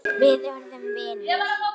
Við urðum vinir.